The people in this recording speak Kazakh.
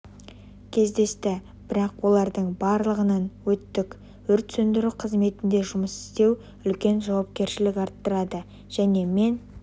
кездесті бірақ олардың барлығынан өттік өрт сөндіру қызметінде жұмыс істеу үлкен жауапкершілік арттырады және мен